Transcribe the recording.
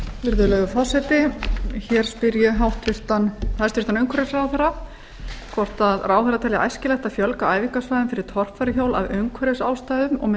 virðulegi forseti hér spyr ég hæstvirtur umhverfisráðherra hvort ráðherra telji æskilegt að fjölga æfingasvæðum fyrir torfæruhjól af umhverfisástæðum og með